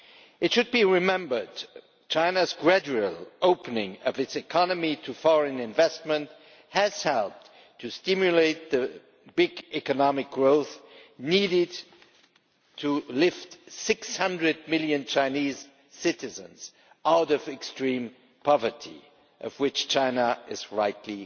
It should be remembered that China's gradual opening up of its economy to foreign investment has helped to stimulate the big economic growth needed to lift 600 million Chinese citizens out of extreme poverty, of which fact China is rightly